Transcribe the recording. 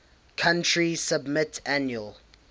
country submit annual